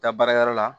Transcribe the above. Taa baarayɔrɔ la